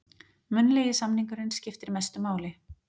Munnlegi samningurinn skiptir mestu máli